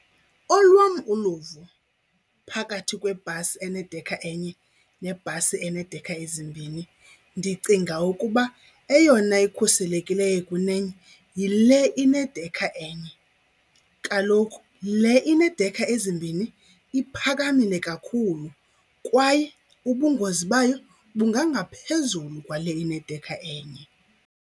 Olwam uluvo phakathi kwebhasi enedekha enye nebhasi eneedekha ezimbini ndicinga ukuba eyona ikhuselekileyo kunenye yile inedekha enye. Kaloku le ineedekha ezimbini iphakamile kakhulu kwaye ubungozi bayo bungangaphezulu kwale inedekha enye.